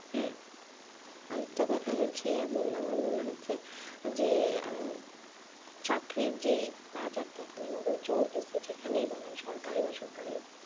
হ্যাঁ আরেকটা কথা হচ্ছে মানে আমার মনে হচ্ছে যে আহ চাকরির যেই বাজারটা চলছে যেখানেই বলেন সরকারী বা বেসরকারী